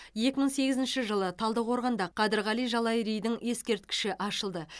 екі мың сегізінші жылы талдықорғанда қадырғали жалайыридің ескерткіші ашылды